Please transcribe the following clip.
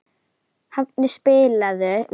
Hafni, spilaðu lag.